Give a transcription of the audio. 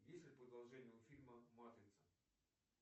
есть ли продолжение у фильма матрица